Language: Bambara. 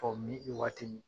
Fɔ i waatini.